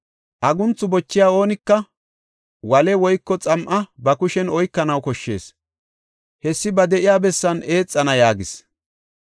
Agunthu bochiya oonika wale woyko xam7a ba kushen oykanaw koshshees; hessi ba de7iya bessan eexana” yaagis.